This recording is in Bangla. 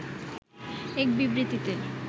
এক বিবৃতিতে